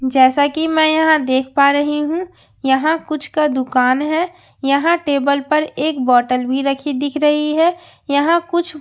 जैसा कि मैं यहां देख पा रही हूं यहां कुछ का दुकान है यहां टेबल पर एक बॉटल भी रखी दिख रही है यहां कुछ--